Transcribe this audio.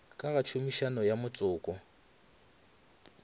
ka ga tshomišo ya motšoko